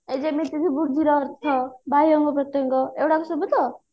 ଏଇ ଯେମିତି କି ବୃଦ୍ଧିର ଅର୍ଥ ବାହ୍ୟ ଅଙ୍ଗ ପ୍ରତ୍ୟଙ୍ଗ ଏଇଗୁଡା ସବୁ ତ